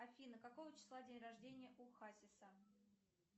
афина какого числа день рождения у хасиса